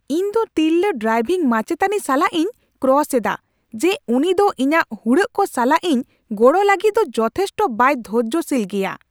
ᱤᱧᱫᱚ ᱛᱤᱨᱞᱟᱹ ᱰᱨᱟᱭᱵᱷᱤᱝ ᱢᱟᱪᱮᱛᱟᱱᱤ ᱥᱟᱞᱟᱜ ᱤᱧ ᱠᱨᱚᱥ ᱮᱫᱟ ᱡᱮ ᱩᱱᱤ ᱫᱚ ᱤᱧᱟᱹᱜ ᱦᱩᱲᱟᱹᱜ ᱠᱚ ᱥᱟᱞᱟᱜ ᱤᱧ ᱜᱚᱲᱚ ᱞᱟᱹᱜᱤᱫ ᱫᱚ ᱡᱚᱛᱷᱮᱥᱴᱚ ᱵᱟᱭ ᱫᱷᱳᱨᱡᱳᱥᱤᱞ ᱜᱮᱭᱟ ᱾